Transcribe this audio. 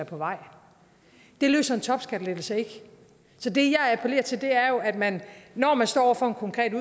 på vej det løser en topskattelettelse ikke så det jeg appellerer til er jo at man når man står over for en konkret